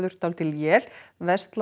dálítil él